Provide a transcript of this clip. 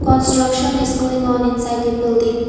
Construction is going on inside the building.